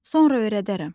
Sonra öyrədərəm.